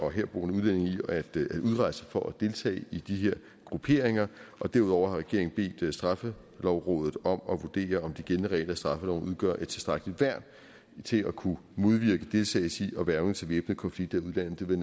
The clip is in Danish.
og herboende udlændinge i at udrejse for at deltage i de her grupperinger derudover har regeringen bedt straffelovrådet om at vurdere om de gældende regler i straffeloven udgør et tilstrækkeligt værn til at kunne modvirke deltagelse i og hvervning til væbnede konflikter i udlandet det vil